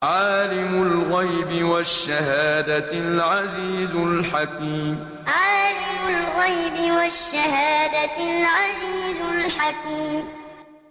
عَالِمُ الْغَيْبِ وَالشَّهَادَةِ الْعَزِيزُ الْحَكِيمُ عَالِمُ الْغَيْبِ وَالشَّهَادَةِ الْعَزِيزُ الْحَكِيمُ